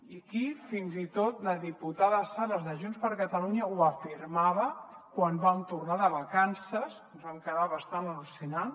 i aquí fins i tot la diputada sales de junts per catalunya ho afirmava quan vam tornar de vacances ens vam quedar bastant al·lucinant